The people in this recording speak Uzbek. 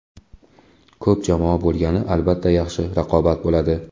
Ko‘p jamoa bo‘lgani albatta yaxshi, raqobat bo‘ladi.